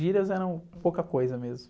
Gírias eram pouca coisa mesmo.